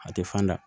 A tɛ fan da